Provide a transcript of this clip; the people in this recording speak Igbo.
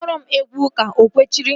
Kpọọrọ m egwu ụka! O kwechiri